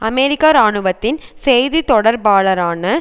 அமெரிக்க இராணுவத்தின் செய்தி தொடர்பாளரான